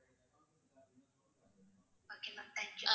okay ma'am thank you